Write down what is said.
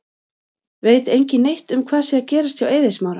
Veit engin neitt um hvað sé að gerast hjá Eiði Smára?